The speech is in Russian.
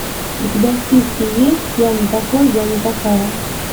у тебя в списке есть я не такой я не такая